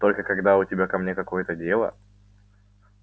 только когда у тебя ко мне какое-то дело